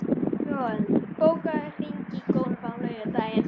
Manuel, bókaðu hring í golf á laugardaginn.